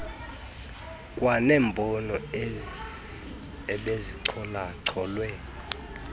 kwanembono ebezichola cholwe